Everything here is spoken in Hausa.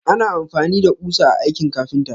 Ana amfani da ƙusa a aikin ƙafinta.